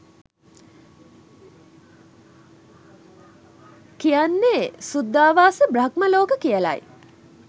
කියන්නේ සුද්ධාවාසබ්‍රහ්ම ලෝක කියලයි.